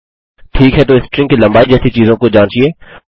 ठीक है तो स्ट्रिंग की लम्बाई जैसी चीज़ों को जाँचिये